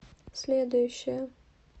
следующая